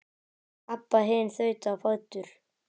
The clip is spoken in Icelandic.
Abba hin þaut á fætur.